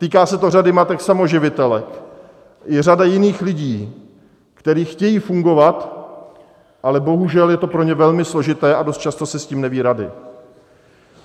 Týká se to řady matek samoživitelek, i řada jiných lidí, kteří chtějí fungovat, ale bohužel, je to pro ně velmi složité a dost často si s tím neví rady.